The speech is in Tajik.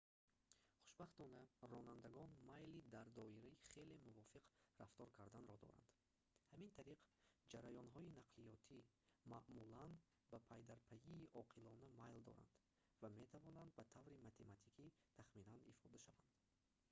хушбахтона ронандагон майли дар доираи хеле мувофиқ рафтор карданро доранд ҳамин тариқ ҷараёнҳои нақлиётӣ маъмулан ба пайдарпайии оқилона майл доранд ва метавонанд ба таври математикӣ тахминан ифода шаванд